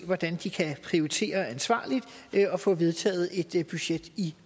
hvordan de kan prioritere ansvarligt og få vedtaget et budget i